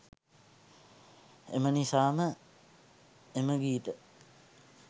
එම නිසාම එම ගීත